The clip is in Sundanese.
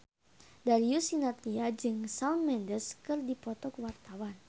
Darius Sinathrya jeung Shawn Mendes keur dipoto ku wartawan